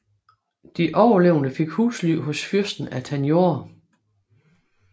De overlevende fik husly hos fyrsten af Tanjore